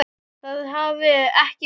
Það hafi ekki tekist.